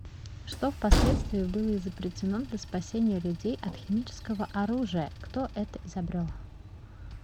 что в последствии было изобретено для спасения людей от химического оружия кто это изобрел